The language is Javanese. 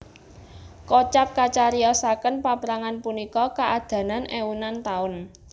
Kocap kacariyosaken paprangan punika kaadanan eunan taun